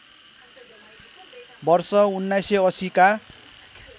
वर्ष १९८० का